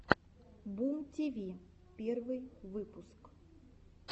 бумтиви первый выпуск